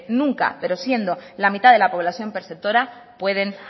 nunca pero siendo la mitad de la población perceptora pueden